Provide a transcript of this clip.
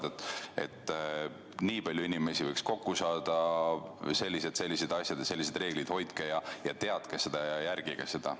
Näiteks et, sõbrad, vaid nii palju inimesi võib kokku saada, on sellised ja sellised reeglid, hoidke end ja järgige neid.